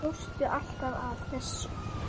Svo hlóstu alltaf að þessu.